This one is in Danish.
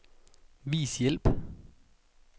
Vis hjælp.